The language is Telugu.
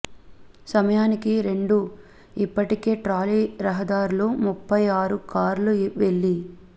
సమయానికి రెండు ఇప్పటికే ట్రాలీ రహదారులు ముప్పై ఆరు కార్లు వెళ్లి